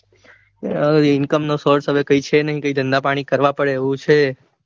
હવે income નો source કોઈ છે નઈ કાંઈ ધંધાપાણી કરવા પડે એવું છે.